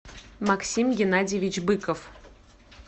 максим геннадьевич быков